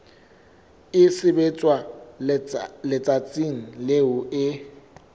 e sebetswa letsatsing leo e